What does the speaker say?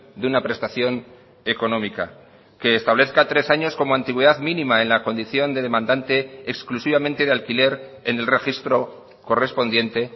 de una prestación económica que establezca tres años como antigüedad mínima en la condición de demandante exclusivamente de alquiler en el registro correspondiente